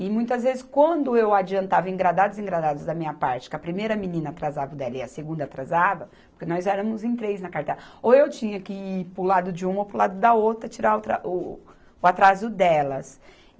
E muitas vezes, quando eu adiantava, engradados e engradados da minha parte, que a primeira menina atrasava o dela e a segunda atrasava, porque nós éramos em três na cartela, ou eu tinha que ir para o lado de uma ou para o lado da outra tirar o tra, o, o atraso delas.